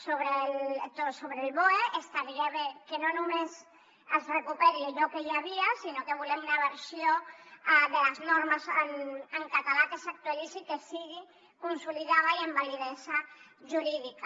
sobre el boe estaria bé que no només es recuperi allò que hi havia sinó que volem una versió de les normes en català que s’actualitzi que sigui consolidada i amb validesa jurídica